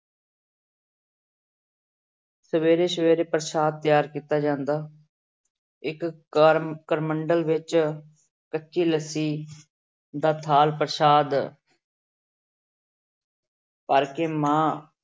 ਸਵੇਰੇ ਸਵੇਰੇ ਪ੍ਰਸ਼ਾਦ ਤਿਆਰ ਕੀਤਾ ਜਾਂਦਾ ਇੱਕ ਕਰ ਕਰਮੰਡਲ ਵਿੱਚ ਕੱਚੀ ਲੱਸੀ ਦਾ ਥਾਲ ਪ੍ਰਸ਼ਾਦ ਕਰਕੇ ਮਾਂ